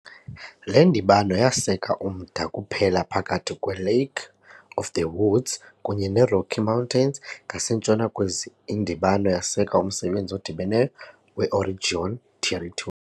Le ndibano yaseka umda kuphela phakathi kweLake of the Woods kunye neRocky Mountains, ngasentshona kwezi, indibano yaseka umsebenzi odibeneyo weOregon Territory.